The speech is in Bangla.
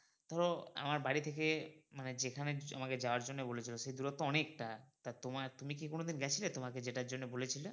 ধরো আমার বাড়ি থেকে মানে যেখানে আমাকে যাওয়ার জন্য বলেছিলো সে দূরত্ব অনেকটা টা তোমার তুমি কি কোনোদিন গেছিলে তোমাকে যেটার জন্য বলেছিলো?